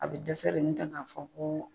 A bɛ dɛsɛ de n'o tɛ k'a fɔ ko